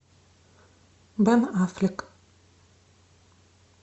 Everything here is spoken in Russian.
бен аффлек